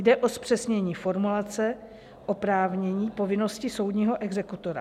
Jde o zpřesnění formulace oprávnění povinnosti soudního exekutora.